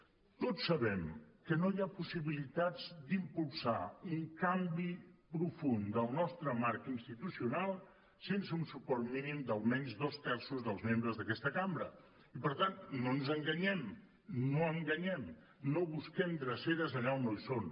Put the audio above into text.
tots sabem que no hi ha possibilitats d’impulsar un canvi profund del nostre marc institucional sense un suport mínim d’almenys dos terços dels membres d’aquesta cambra i per tant no ens enganyem no enganyem no busquem dreceres allà on no hi són